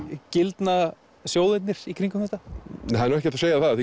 gildna sjóðirnir í kringum þetta það er nú ekki hægt að segja að